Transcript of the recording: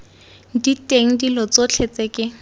diteng dilo tsotlhe tse ke